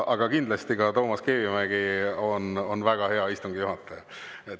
Aga kindlasti ka Toomas Kivimägi on väga hea istungi juhataja.